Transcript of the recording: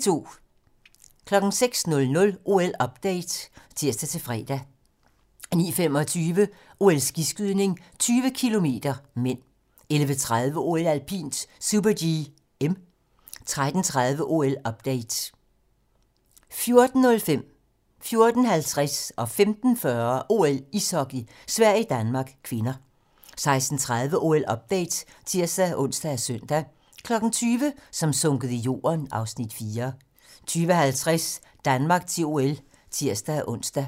06:00: OL-update (tir-fre) 09:25: OL: Skiskydning - 20 km (m) 11:30: OL: Alpint - super-G (m) 13:30: OL-update 14:05: OL: Ishockey - Sverige-Danmark (k) 14:50: OL: Ishockey - Sverige-Danmark (k) 15:40: OL: Ishockey - Sverige-Danmark (k) 16:30: OL-update (tir-ons og søn) 20:00: Som sunket i jorden (Afs. 4) 20:50: Danmark til OL (tir-ons)